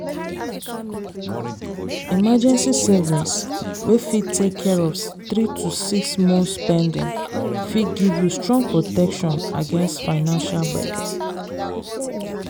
emergency savings wey fit take care of three to six months’ spending fit give you strong protection against financial gbege.